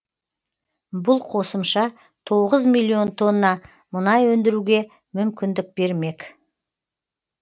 бұл қосымша тоғыз миллион тонна мұнай өндіруге мүмкіндік бермек